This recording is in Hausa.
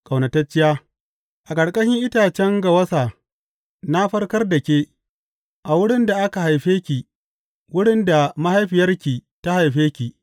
Ƙaunatacciya A ƙarƙashin itacen gawasa na farkar da ke, a wurin da aka haife ki, wurin da mahaifiyarki ta haife ki.